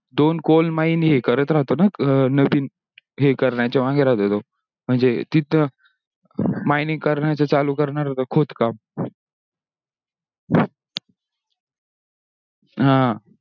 दोन coal mine ही करत राहतो ना नाविण ही करण्याचा मागे राहतो तो म्हणजे तिथ mining करण्याचा चालू करणार होता खोदकाम